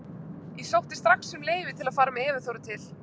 Ég sótti strax um leyfi til að fara með Evu Þóru til